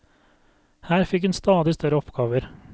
Her fikk hun stadig større oppgaver.